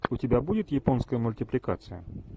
у тебя будет японская мультипликация